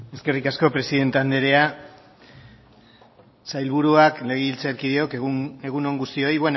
eskerrik asko presidente anderea sailburuak legebiltzarkideok egun on guztioi